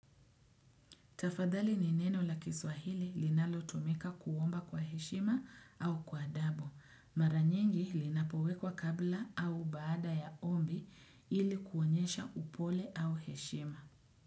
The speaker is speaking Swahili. Tafadhali ni neno la kiswahili linalotumika kuomba kwa heshima au kwa adabu. Maranyingi linapowekwa kabla au baada ya ombi ili kuonyesha upole au heshima.